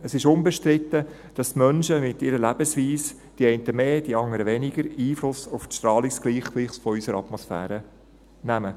Es ist unbestritten, dass die Menschen mit ihrer Lebensweise, die einen mehr, die anderen weniger, Einfluss auf das Strahlungsgleichgewicht unserer Atmosphäre nehmen.